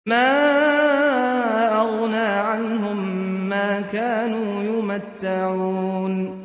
مَا أَغْنَىٰ عَنْهُم مَّا كَانُوا يُمَتَّعُونَ